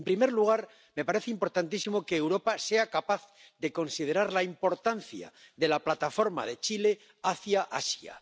En primer lugar, me parece importantísimo que Europa sea capaz de considerar la importancia de la plataforma de Chile hacia Asia.